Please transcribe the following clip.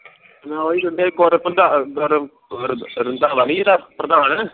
ਮੈਂ ਉਹ ਸੋਚਿਆ ਇਕ ਵਾਰੀ ਪ੍ਰਧਾਨ ਆਹ ਮਤਲਬ ਰੰਧਾਵਾ ਨੀ ਹੀ ਜਿੱਦਾ ਪ੍ਰਧਾਨ